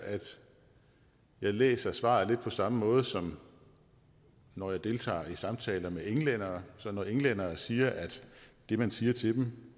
læser jeg svaret lidt på samme måde som når jeg deltager i samtaler med englændere så når englændere siger at det man siger til dem